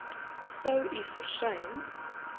sou u versuim